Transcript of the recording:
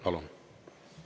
Palun!